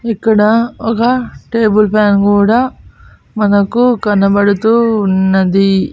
ఇక్కడ ఒగ table fan గూడా మనకు కనబడుతూ ఉన్నది.